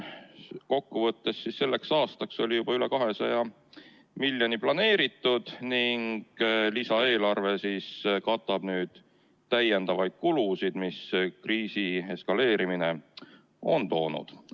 Kokku võttes, selleks aastaks oli juba üle 200 miljoni euro planeeritud ning lisaeelarve katab nüüd täiendavaid kulusid, mis kriisi eskaleerimine on kaasa toonud.